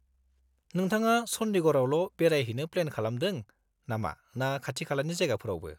-नोंथाङा चन्डीगढ़ावल' बेरायहैनो प्लेन खालामदों नामा ना खाथि खालानि जायगाफोरावबो?